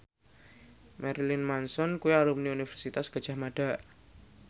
Marilyn Manson kuwi alumni Universitas Gadjah Mada